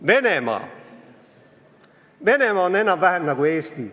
Venemaa – Venemaa on enam-vähem nagu Eesti.